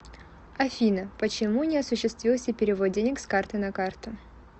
афина почему не осуществился перевод денег с карты на карту